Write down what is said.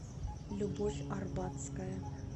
любовь арбатская